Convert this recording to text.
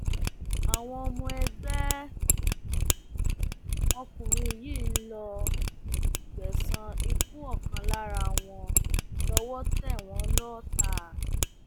àwọn ọmọ ẹgbẹ um òkùnkùn yìí ń lọọ um gbẹsan ikú ọkan lára wọn lọwọ tẹ wọn lọọta